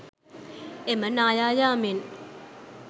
එම නාය යාමෙන්